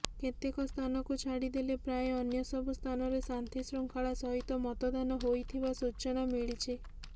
କେତେକ ସ୍ଥାନକୁ ଛାଡିଦେଲେ ପ୍ରାୟ ଅନ୍ୟସବୁ ସ୍ଥାନରେ ଶାନ୍ତିଶୃଙ୍ଖଲା ସହିତ ମତଦାନ ହୋଇଥିବା ସୂଚନା ମିଳିଛି